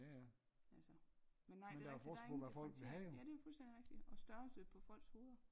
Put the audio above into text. Altså men nej det er rigitg der er ingen differentiering ja det fuldstændig rigtigt og størrelse på folks hoveder